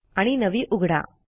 आणि नवी उघडा